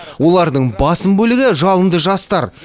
олардың басым бөлігі жалынды жастар